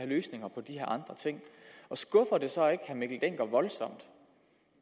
løsninger på de her andre ting og skuffer det så ikke herre mikkel dencker voldsomt